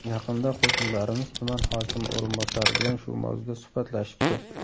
Yaqinda qo‘shnilarimiz tuman hokimi o‘rinbosari bilan shu mavzuda suhbatlashibdi.